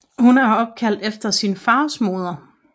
Hun er opkaldt efter sin fars moder